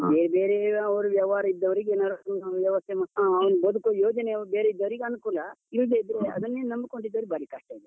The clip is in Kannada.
ಬೇರೆ ಬೇರೆ ಅವರು ವ್ಯವಹಾರ ಇದ್ದವರಿಗೆ ಏನಾದ್ರು, ಆಹ್ ವ್ಯವಸ್ಥೆ ಮಾಡ್ಕೊಂಡು, ಹಾ ಬದುಕುವ ಯೋಜನೆ ಬೇರಿದ್ದವರಿಗೆ ಅನುಕೂಲ. ಇಲ್ದೆಇದ್ರೆ ಅದನ್ನೆ ನಂಬಿಕೊಂಡು ಇದ್ದವರಿಗೆ ಭಾರಿ ಕಷ್ಟ ಇದೆ.